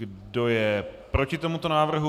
Kdo je proti tomuto návrhu?